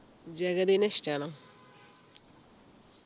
ജഗതിനെ ഇഷ്ടാണോ